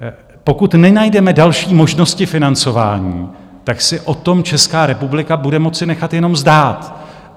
Pokud nenajdeme další možnosti financování, tak si o tom Česká republika bude moci nechat jenom zdát.